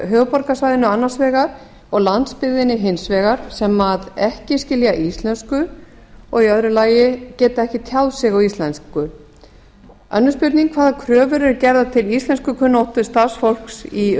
höfuðborgarsvæðinu annars vegar og landsbyggðinni hins vegar sem a skilja ekki íslensku b geta ekki tjáð sig á íslensku annars hvaða kröfur eru gerðar um íslenskukunnáttu starfsfólks í